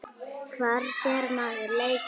Hvar sér maður leikinn?